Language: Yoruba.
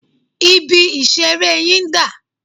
Ibi-ìṣeré yín dà?